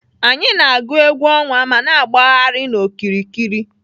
Anyị na-agụ egwú ọnwa ma na-agbagharị n'okiriki.